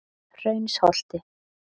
Hraunsholti